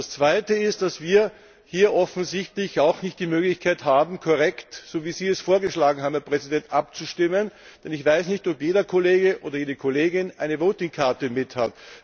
Das Zweite ist, dass wir hier offensichtlich auch nicht die Möglichkeit haben, korrekt so wie Sie es vorgeschlagen haben, Herr Präsident abzustimmen, denn ich weiß nicht, ob jeder Kollege oder jede Kollegin eine Abstimmungskarte mithat.